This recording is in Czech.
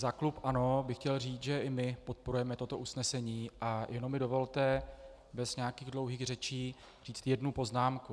Za klub ANO bych chtěl říct, že i my podporujeme toto usnesení, a jenom mi dovolte bez nějakých dlouhých řečí říct jednu poznámku.